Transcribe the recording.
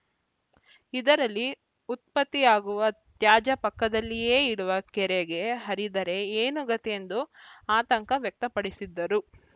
ಇದರಲ್ಲಿ ಉತ್ಪತ್ತಿಯಾಗುವ ತ್ಯಾಜ ಪಕ್ಕದಲ್ಲಿಯೇ ಇರುವ ಕೆರೆಗೆ ಹರಿದರೆ ಏನು ಗತಿ ಎಂದು ಆತಂಕ ವ್ಯಕ್ತಪಡಿಸಿದರು